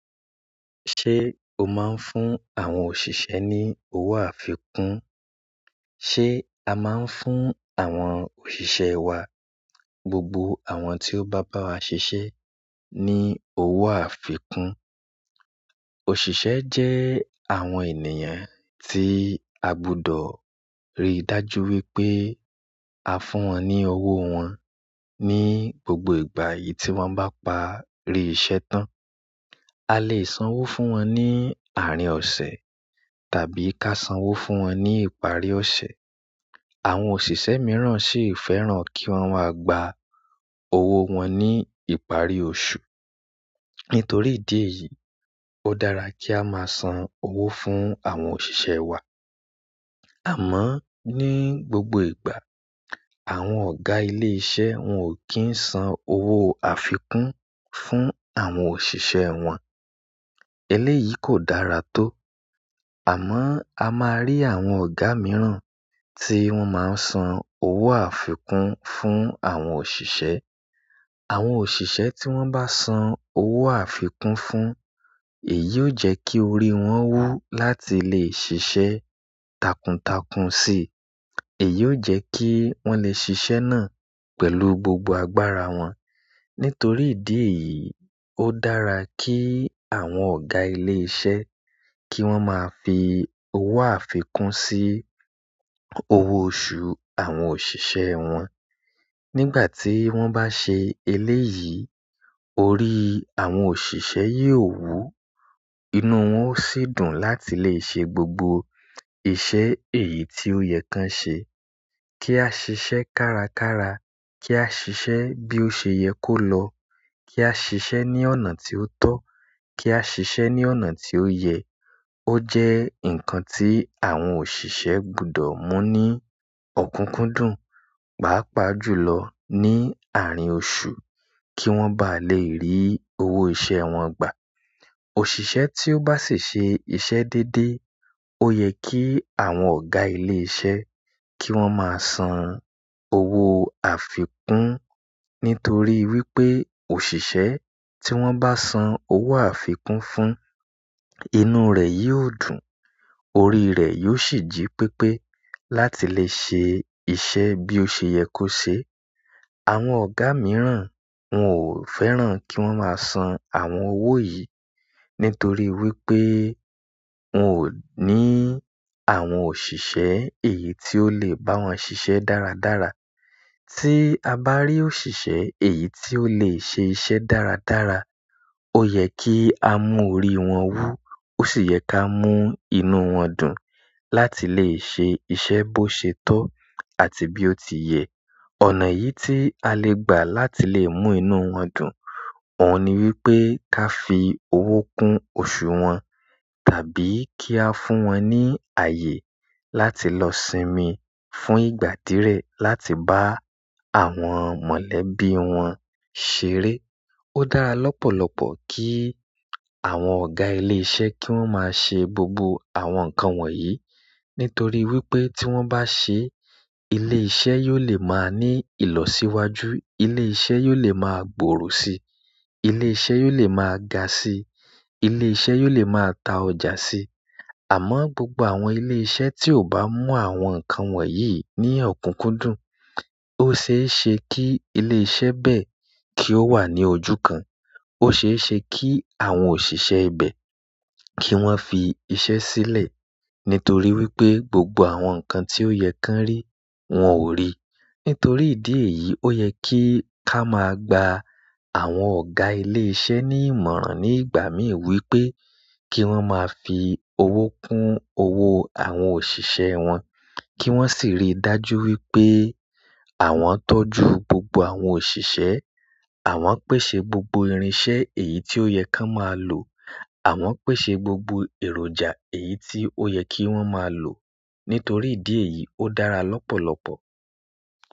Se o maa n fún àwọn òṣìṣẹ́ ni owo àfikún? Se a maa n fún àwọn òṣìṣẹ́ wa gbogbo àwọn ti o ba bawa sise ni owo àfikún. Òṣìṣẹ́ jẹ́ àwọn ènìyàn tí a gbọ́dọ̀ rí dájú wípé a fún wọn ní owó wọn ní gbogbo ìgbà yìí tí wọ́n bá parí iṣẹ́ tán. A lè san owó fún wọn ní àárín ọ̀sẹ̀ tàbí ká san owó fún wọn ní ìparí ọ̀sẹ̀. Àwọn òṣìṣẹ́ mìíràn sì fẹ́ràn kí wọ́n wá gba owó wọn ní ìparí oṣù. Nítorí ìdí èyí, ó dára kí a máa san owó fún àwọn òṣìṣẹ́ wa. Àmọ́ ní gbogbo ìgbà, àwọn ọ̀gá ilé iṣẹ́ wọn ò kí ń san owó àfikún fún àwọn òṣìṣẹ́ wọn. Eléyìí kò dára tó. Àmọ́ a máa rí àwọn ọ̀gá mìíràn tí wọ́n máa ń san owó àfikún fún àwọn òṣìṣẹ́. Àwọn òṣìṣẹ́ tí wọ́n bá san owó àfikún fún, èyí ó jẹ́ kí orí wọn wú láti lè ṣiṣẹ́ takuntakun si. Èyí ó jẹ́ kí wọ́n lè ṣiṣẹ́ náà pẹ̀lú gbogbo agbára wọn. Nítorí ìdí èyí, ó dára kí àwọn ọ̀gá ilé iṣẹ́ kí wọ́n máa fi owó àfikún sí owó oṣù àwọn òṣìṣẹ́ wọn. Nígbà tí wọ́n bá ṣe eléyìí, orí àwọn òṣìṣẹ́ yìí ó wú, inú wọn ó sì dùn láti lè ṣe gbogbo iṣẹ́ èyí tí ó yẹ kan ṣe. Kí á ṣiṣẹ́ kárakára, kí á ṣiṣẹ́ bí ó ṣe yẹ kó lọ, kí á ṣiṣẹ́ ní ọ̀nà tí ó tọ́, kí á ṣiṣẹ́ ní ọ̀nà tí ó yẹ, ó jẹ́ ǹnkan tí àwọn òṣìṣẹ́ gbọ́dọ̀ mú ní ọ̀kúnkúndùn, bá pà jùlọ ní àárín oṣù kí wọ́n bá lè rí owó iṣẹ́ wọn gbà. Òṣìṣẹ́ tí ó bá sì ṣe iṣẹ́ dédé, ó yẹ kí àwọn ọ̀gá ilé iṣẹ́ kí wọ́n máa san owó àfikún nítorí wípé òṣìṣẹ́ tí wọ́n bá san owó àfikún fún, inú rẹ̀ yóò dùn, orí rẹ̀ yóò sì jí pépé láti lè ṣe iṣẹ́ bí ó ṣe yẹ kó ṣe. Àwọn ọ̀gá mìíràn wọn ò fẹ́ràn kí wọ́n máa san àwọn owó yìí nítorí wípé wọn ò ní àwọn òṣìṣẹ́ èyí tí ó lè bá wọn ṣiṣẹ́ dáradára. Ti a ba ri òṣìṣẹ́ èyí ti o le se iṣẹ́ dáradára, o ye ki a mu orí won wu o si ye ki a mu inú won dùn láti le se iṣẹ́ bo se to àti bi o ti ye. Ọ̀nà yìí tí a lè gbà láti lè mú inú wọn dùn, òun ni wípé ká fi owó kún oṣù wọn tàbí kí á fún wọn ní ààyè láti lọ sinmi fun ìgbà dire láti ba àwọn mọ̀lẹ́bí won ṣeré. Ó dára lọ́pọ̀lọpọ̀ kí àwọn ọ̀gá ilé iṣẹ́ kí wọ́n máa ṣe gbogbo àwọn ǹnkan wọ̀nyí nítorí wípé tí wọ́n bá ṣe é, ilé iṣẹ́ yóò lè máa ní ìlọsíwájú. Ilé iṣẹ́ yóò lè máa gbòòrò si. Ilé iṣẹ́ yóò lè máa ga sí. Ilé iṣẹ́ yóò lè máa ta ọjà sí. Àmọ́ gbogbo àwọn ilé iṣẹ́ tí ò bá mú àwọn ǹnkan wọ̀nyí ní ọ̀kúnkúndùn, ó ṣe é ṣe kí ilé iṣẹ́ bẹ́ẹ̀ kí ó wà ní ojú kan. O se e se ki àwọn òṣìṣẹ́ ibe ki won fi iṣẹ́ sile nítorí wípé gbogbo àwọn nǹkan ti o ye kan ri won o ri. Nítorí ìdí èyí, ó yẹ kí ká máa gba àwọn ọ̀gá ilé iṣẹ́ ní ìmọ̀ràn ní ìgbà mí ì wípé kí wọ́n máa fi owó kún owó àwọn òṣìṣẹ́ wọn, kí wọ́n sì rí dájú wípé àwọn tọ́jú gbogbo àwọn òṣìṣẹ́, àwọn pèsè gbogbo irinṣẹ́ èyí tí ó yẹ kan máa lò, àwọn pèsè gbogbo èròjà èyí tí ó yẹ kí wọ́n máa lò. Nítorí ìdí èyí, ó dára lọ́pọ̀lọpọ̀.